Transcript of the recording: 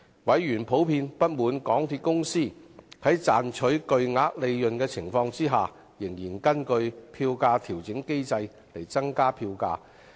委員普遍不滿港鐵公司在賺取巨額利潤的情況下，仍根據票價調整機制增加票價。